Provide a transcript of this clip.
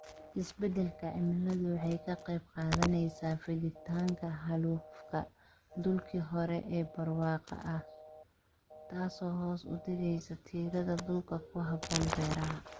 Isbeddelka cimiladu waxay ka qayb qaadanaysaa fiditaanka xaalufka dhulkii hore ee barwaaqada ahaa, taasoo hoos u dhigaysa tirada dhulka ku habboon beeraha.